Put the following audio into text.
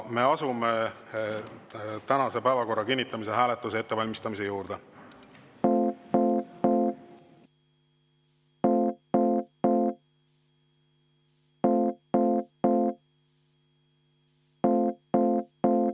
Me asume päevakorra kinnitamise hääletuse ettevalmistamise juurde.